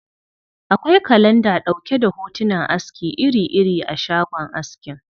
Akwai kalanda ɗauke da hotunan aski iri-iri a shagon askin.